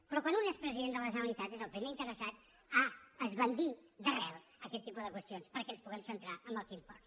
però quan un és president de la generalitat és el primer interessat a esbandir d’arrel aquest tipus de qüestions perquè ens puguem centrar en el que importa